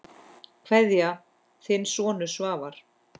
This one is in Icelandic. Kveðja, þinn sonur Svavar.